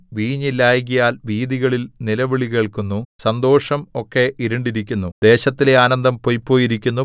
വീഞ്ഞില്ലായ്കയാൽ വീഥികളിൽ നിലവിളികേൾക്കുന്നു സന്തോഷം ഒക്കെ ഇരുണ്ടിരിക്കുന്നു ദേശത്തിലെ ആനന്ദം പൊയ്പോയിരിക്കുന്നു